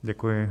Děkuji.